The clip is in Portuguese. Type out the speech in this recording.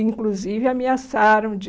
Inclusive, ameaçaram de...